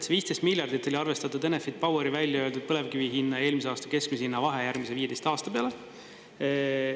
See 15 miljardit oli arvestatud Enefit Poweri välja öeldud põlevkivi hinna ja eelmise aasta keskmise hinna vahe järgmise 15 aasta peale.